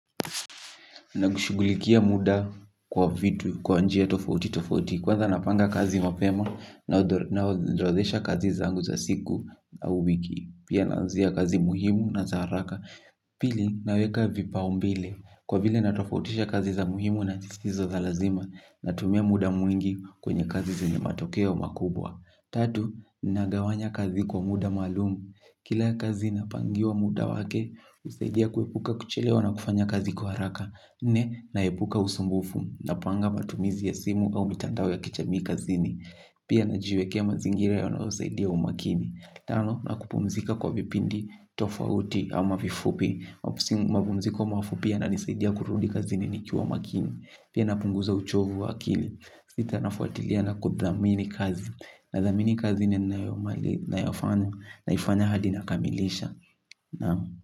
Na kushugulikia muda kwa vitu kwa njia tofauti tofauti kwanza napanga kazi mapema na odrozesha kazi zangu za siku na au wiki. Pia nanzia kazi muhimu na za haraka. Pili naweka vipaumbile kwa vile natofautisha kazi za muhimu na jisizo za lazima na tumia muda mwingi kwenye kazi zenye matokeo makubwa. Tatu, nagawanya kazi kwa muda malumu. Kila kazi napangiwa muda wake usaidia kuepuka kuchelewa na kufanya kazi kwa haraka. Nne, naepuka usumbufu na panga matumizi ya simu au mitandawo ya kichamii kazini. Pia najiweke mazingira yanawo usaidia umakini. Tano, na kupumzika kwa vipindi tofauti au ama vifupi. Mapumziko mafupia yananisaidia kurudi kazini nikiwa makini. Pia na punguza uchovu wakili. Sita nafuatilia na kudhamini kazi. Nadhamini kazi ninaoifanya hadi nakamilisha.